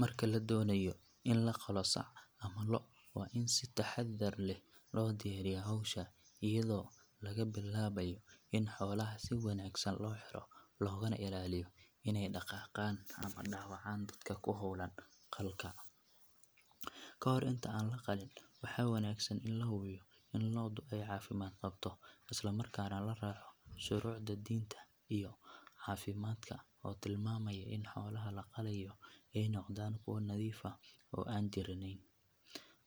Marka la doonayo in la qalo sac ama lo' waa in si taxaddar leh loo diyaariyaa hawsha iyadoo laga bilaabayo in xoolaha si wanaagsan loo xiro loogana ilaaliyo inay dhaqaaqaan ama dhaawacaan dadka ku hawlan qalka. Ka hor inta aan la qalin waxaa wanaagsan in la hubiyo in lo'du ay caafimaad qabto isla markaana la raaco shuruucda diinta iyo caafimaadka oo tilmaamaya in xoolaha la qalayo ay noqdaan kuwo nadiif ah oo aan jiraneyn.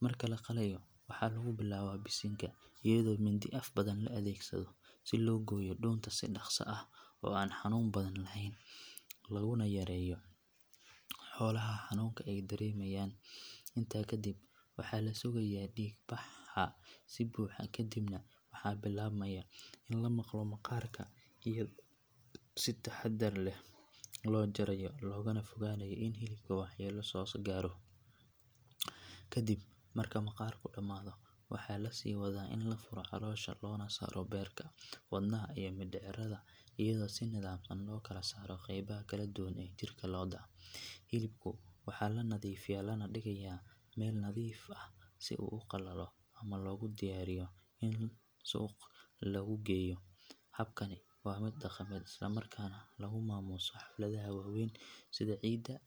Marka la qalayo waxaa lagu bilaabaa bisinka iyadoo mindi af badan la adeegsado si loo gooyo dhuunta si dhaqso ah oo aan xanuun badan lahayn loogu yareeyo xoolaha xanuunka ay dareemayaan. Intaa kadib waxaa la sugayaa dhiig baxa si buuxa ka dibna waxaa bilaabmaya in la maqlo maqaarka iyadoo si taxaddar leh loo jarayo loogana fogaanayo in hilibka waxyeello soo gaarto. Ka dib marka maqaarku dhammaado waxaa la sii wadaa in la furo caloosha loona saaro beerka, wadnaha iyo mindhicirada iyadoo si nidaamsan loo kala saaro qaybaha kala duwan ee jirka lo'da. Hilibka waxaa la nadiifiyaa lana dhigayaa meel nadiif ah si uu u qalalo ama loogu diyaariyo in suuq lagu geeyo. Habkani waa mid dhaqameed isla markaana lagu maamuuso xafladaha waaweyn sida ciida ama .